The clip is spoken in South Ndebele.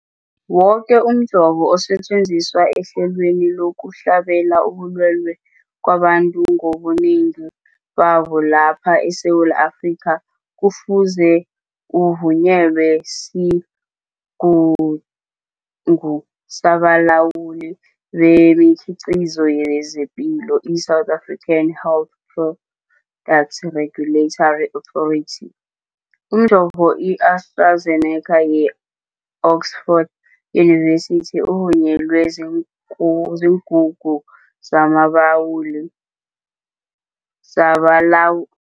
Woke umjovo osetjenziswa ehlelweni lokuhlabela ubulwele kwabantu ngobunengi babo lapha eSewula Afrika kufuze uvunyelwe siGungu sabaLawuli bemiKhiqizo yezePilo, i-South African Health Products Regulatory Authority. Umjovo i-AstraZeneca ye-Oxford University ovunyelwe ziingungu zamalawuli zabalaw